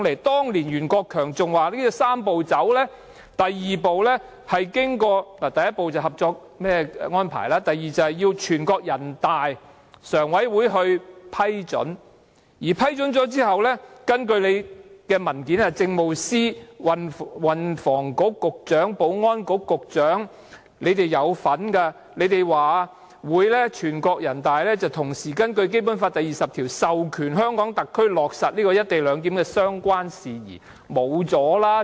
當年袁國強說"三步走"的第一步是合作安排，第二步是由全國人民代表大會常務委員會批准，在批准後，根據政府的文件，政務司司長、運輸及房屋局局長和保安局局長表示人大常委會會同時根據《基本法》第二十條授權香港特區落實"一地兩檢"的相關事宜。